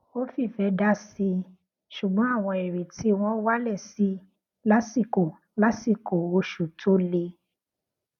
ó fi ìfẹ dásí i ṣugbọn àwọn ìrètí wọn wálẹ sí i lásìkò lásìkò oṣù tó le